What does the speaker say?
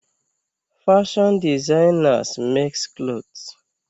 Fashion designers makes clothes.